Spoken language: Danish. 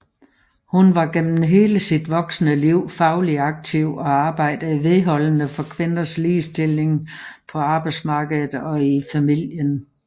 Hun var gennem hele sit voksne liv fagligt aktiv og arbejdede vedholdende for kvinders ligestilling på arbejdsmarkedet og i familien